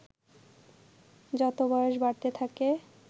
যত বয়স বাড়তে থাকে